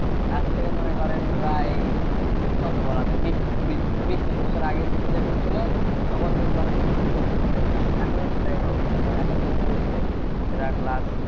আজ থেকে মনে করেন প্রায় কত বলা যায় বিশ ত্রিশ বছর আগের শিক্ষা যেমন ছিল তখন কিন্তু অনেক সুযোগ সুবিধা ছিল, এখনো সেটাই হবে মনে এখন যেটা করছে যেটা class